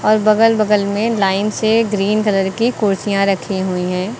और बगल बगल में लाइन से ग्रीन कलर की कुर्सियां रखी हुई हैं।